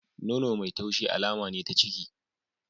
Nono mai taushi alama ne ta ciki.